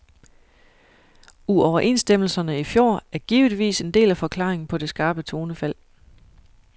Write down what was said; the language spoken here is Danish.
Uoverenstemmelserne i fjor er givetvis en del af forklaringen på det skarpe tonefald.